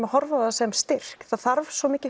að horfa á það sem styrk það þarf svo mikið